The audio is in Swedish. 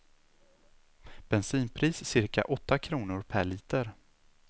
Bensinpris cirka åtta kronor per liter.